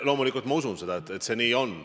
Loomulikult ma usun, et see nii on.